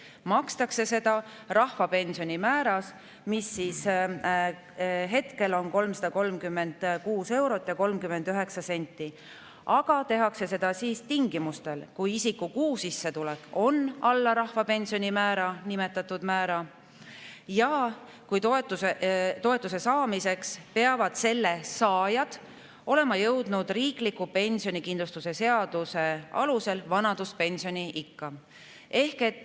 Seda makstakse rahvapensioni määras, mis hetkel on 336 eurot ja 39 senti, aga tehakse seda tingimustel, et isiku kuusissetulek on alla rahvapensioni määra ehk nimetatud määra ja toetuse saamiseks peab selle saaja olema jõudnud riikliku pensionikindlustuse seaduses vanaduspensioniikka.